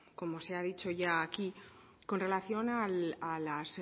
como se ha dicho ya aquí con relación a las